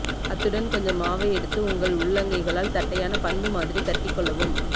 அத்துடன் கொஞ்சம் மாவை எடுத்து உங்கள் உள்ளங்கைகளால் தட்டையான பந்து மாதிரி தட்டிக் கொள்ளவும்